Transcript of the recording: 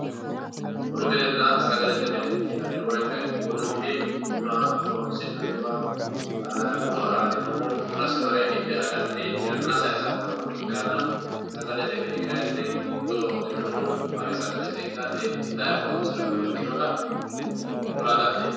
bunu minenna sagalete mini yinanni woyiite bunu mini buna horoonsi'nanniwa bunu araadinohu bunasi hidhe aganni yanna saysannowa ikkanna sagalete mini kayni fodowa hudirinohu mare hidhay itay horoonsirannowa ikkinota kula dandiinay